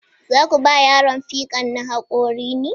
Za ku ba yaron fikan na haƙori ne?